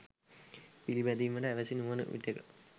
පිළිපැදීමට ඇවැසි නුවණ විටෙක